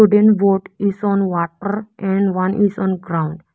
wooden boat is on water and one is on ground.